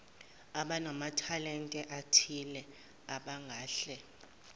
abanamathalente athize abangahle